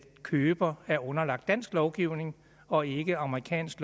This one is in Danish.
køber er underlagt dansk lovgivning og ikke amerikansk